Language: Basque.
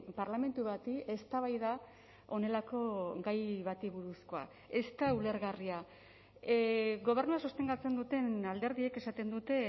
parlamentu bati eztabaida honelako gai bati buruzkoa ez da ulergarria gobernua sostengatzen duten alderdiek esaten dute